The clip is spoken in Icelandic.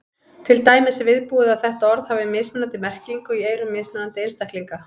Til dæmis er viðbúið að þetta orð hafi mismunandi merkingu í eyrum mismunandi einstaklinga.